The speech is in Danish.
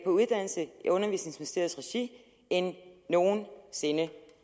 på uddannelse i undervisningsministeriets regi end nogen sinde